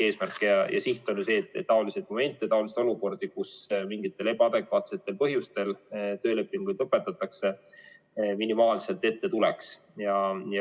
Eesmärk ja siht on ju see, et taoliseid olukordi, kus mingitel ebaadekvaatsetel põhjustel tööleping lõpetatakse, minimaalselt ette tuleks.